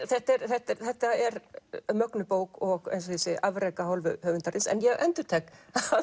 þetta er þetta er þetta er mögnuð bók og afrek af hálfu höfundarins en ég endurtek